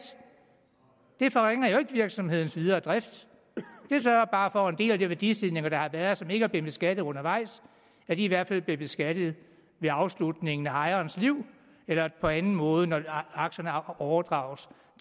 det forringer jo ikke virksomhedens videre drift det sørger bare for at en del af de værdistigninger der har været og som ikke er blevet beskattet undervejs i hvert fald bliver beskattet ved afslutningen af ejerens liv eller på anden måde når aktierne overdrages